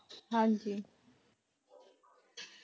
ਹਾਂਜੀ